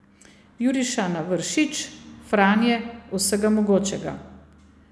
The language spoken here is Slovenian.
Juriša na Vršič, Franje, vsega mogočega.